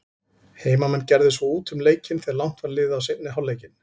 Heimamenn gerðu svo út um leikinn þegar langt var liðið á seinni hálfleikinn.